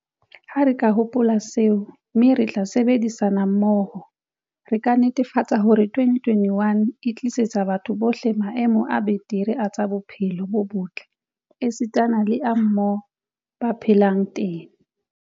Ha re ka hopola seo, mme ra sebedisana mmoho, re ka netefatsa hore 2021 e tlisetsa batho bohle maemo a betere a tsa bophelo bo botle esitana le a moo ba phelang teng.